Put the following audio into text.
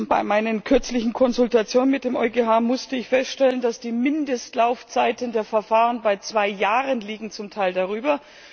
Bei meinen kürzlichen Konsultationen mit dem EuGH musste ich feststellen, dass die Mindestlaufzeiten der Verfahren bei zwei Jahren liegen, zum Teil darüber.